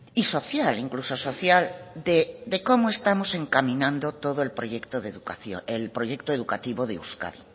y social incluso social de cómo estamos encaminando todo el proyecto de educación el proyecto educativo de euskadi